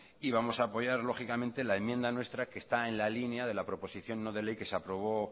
y vamos a apoyar lógicamente la enmienda nuestra que está en la línea de la proposición no de ley que se aprobó